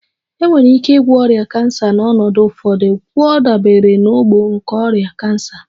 Enwere ike ịgwọ ọrịa cancer na n'ọnọdụ ụfọdụ, gwọọ dabere na ogbo nke ọrịa cancer